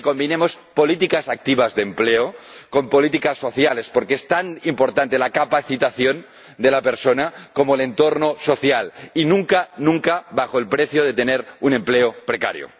y que combinemos políticas activas de empleo con políticas sociales, porque es tan importante la capacitación de la persona como el entorno social, y nunca al precio de tener un empleo precario.